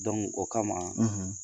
o kama